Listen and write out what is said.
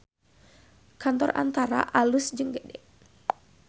Kantor Antara alus jeung gede